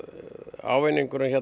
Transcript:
ávinningurinn